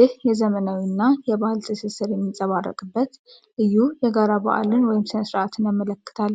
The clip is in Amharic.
ይህ የዘመናዊና የባህል ትስስር የሚንፀባረቅበት፣ ልዩ የጋራ በዓልን ወይም ሥነ ሥርዓትን ያመለክታል።